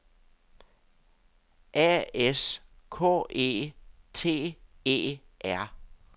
A S K E T E R